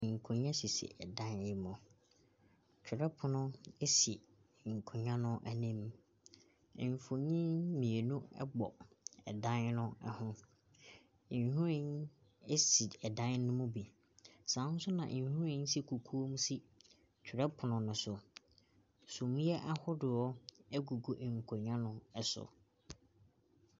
Nkonnwa sisi dan ne mu, twerɛpono si nkonnwa no anim, mfonin mmienu bɔ dan ne ho, nhwiren si dan no mu bi, saa nso na nhwiren hyɛ kukuo mu si twerɛpono ne so. Suneɛ ahodoɔ gugu nkonnwa no so.